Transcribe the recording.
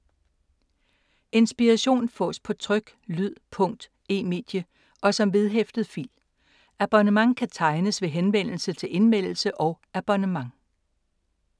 Inspiration fås på tryk, lyd, punkt, e-medie og som vedhæftet fil. Abonnement kan tegnes ved henvendelse til Indmeldelse og abonnement.